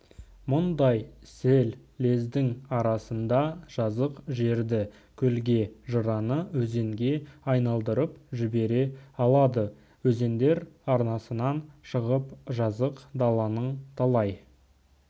мұндай сел лездің арасында жазық жерді көлге жыраны өзенге айналдырып жібере алады өзендер арнасынан шығып жазық даланың талай